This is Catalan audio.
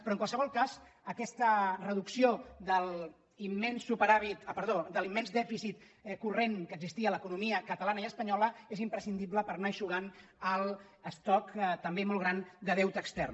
però en qualsevol cas aquesta reducció de l’immens dèficit corrent que existia a l’economia catalana i espanyo·la és imprescindible per anar eixugant l’estoc també molt gran de deute extern